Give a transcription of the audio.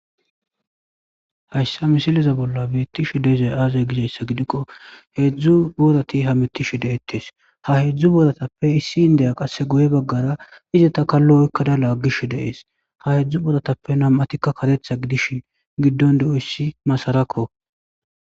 Hayssa misileza bolla beettishi deezay aazay giseyssa gidikko heedzdzu boorati hamitishi deettes ha hedzdzu booatappe issi indeya qasse goye baggara izataka lo'kkada laaggish deees ha hedzdzu boratappe nam'atikka katetha gidishin giddon do'oyssi masarakko.